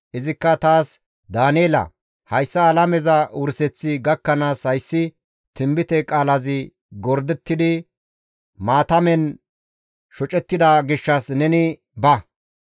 Izikka taas, «Daaneela! Hayssa alameza wurseththi gakkanaas hayssi tinbite qaalazi gordettidi maatamen shocettida gishshas neni ba.